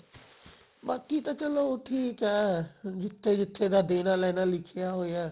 ਬਾਕੀ ਤਾਂ ਚਲੋ ਠੀਕ ਐ ਜਿੱਥੇ ਜਿੱਥੇ ਦਾ ਲੇਣਾ ਦੇਣਾ ਲਿੱਖੀਆਂ ਹੋਇਆ ਹੈ